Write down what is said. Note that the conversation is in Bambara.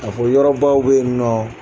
Ka fɔ yɔrɔ baw bɛ yen nɔ